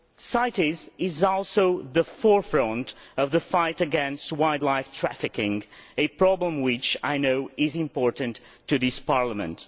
CITES is also at the forefront of the fight against wildlife trafficking, a problem which I know is important to this Parliament.